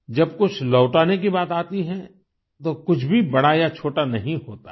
जब कुछ लौटाने की बात आती है तो कुछ भी बड़ा या छोटा नहीं होता है